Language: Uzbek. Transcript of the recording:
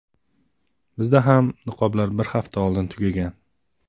Bizda ham niqoblar bir hafta oldin tugagan.